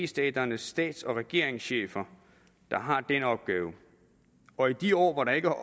staternes stats og regeringschefer der har den opgave og i de år hvor der ikke